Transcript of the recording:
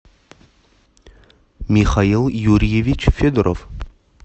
михаил юрьевич федоров